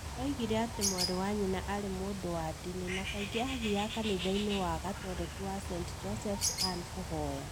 Oigire atĩ mwarĩ wa nyina arĩ mũndũ wa ndini na kaingĩ athiaga kanitha-inĩ wa gatoreki wa St Joseph’s, Anin, kũhoya.